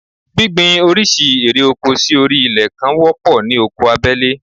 Gbíngbin oríṣiríṣi ère oko sí orí ilẹ̀ kan wọ́pọ̀ ní oko abẹ́lé